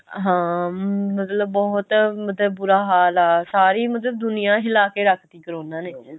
ਹਾਂ ਮਤਲਬ ਬਹੁਤ ਮਤਲਬ ਬੁਰਾ ਹਾਲ ਆ ਸਾਰੇ ਮਤਲਬ ਦੁਨੀਆ ਹਿਲਾ ਕੇ ਰੱਖਤੀ ਕਰੋਨਾ ਨੇ